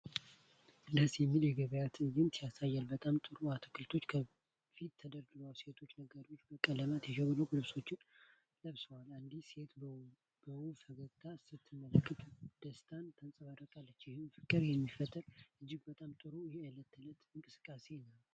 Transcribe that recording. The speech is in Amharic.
ደስ የሚል የገበያ ትዕይንት ያሳያል። በጣም ጥሩ አትክልቶች ከፊት ተደርድረዋል፤ ሴት ነጋዴዎችም በቀለማት ያሸበረቁ ልብሶችን ለብሰዋል። አንዲት ሴት በውብ ፈገግታ ስትመለከት ደስታን ታንጸባርቃለች፤ ይህም ፍቅርን የሚፈጥር እጅግ በጣም ጥሩ የዕለት ተዕለት እንቅስቃሴ ነው።